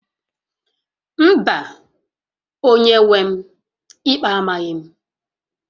Mba, onye-nwe m, ikpe amaghị m